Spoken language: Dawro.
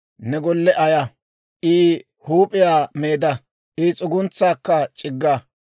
ne golle ayaa; I huup'iyaa meedda; I s'uguntsaakka c'igga.